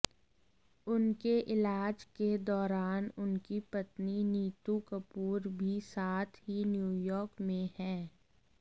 उनके इलाज के दौरान उनकी पत्नी नीतू कपूर भी साथ ही न्यूयॉर्क में हैं